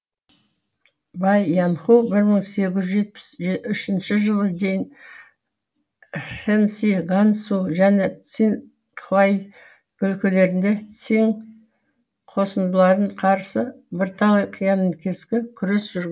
бай яңху бір мың сегіз жүз жетпіс үшінші жылы дейін шэнси гансу және циңхай өлкелерінде циң қосындыларын қарсы бірталай қиянкескі күрес жүргізген